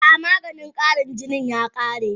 A'a maganin Karin jinin ya kare